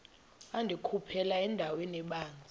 wandikhuphela endaweni ebanzi